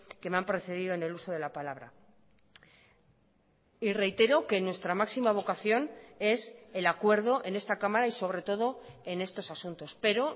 que me han precedido en el uso de la palabra y reitero que nuestra máxima vocación es el acuerdo en esta cámara y sobre todo en estos asuntos pero